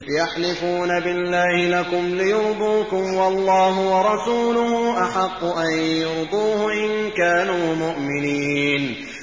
يَحْلِفُونَ بِاللَّهِ لَكُمْ لِيُرْضُوكُمْ وَاللَّهُ وَرَسُولُهُ أَحَقُّ أَن يُرْضُوهُ إِن كَانُوا مُؤْمِنِينَ